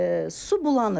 Su bulanır.